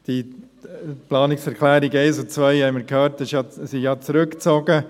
Die Planungserklärungen 1 und 2 wurden ja, wie wir gehört haben, zurückgezogen.